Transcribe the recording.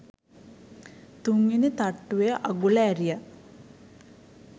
තුන්වෙනි තට්ටුවේ අගුල ඇරිය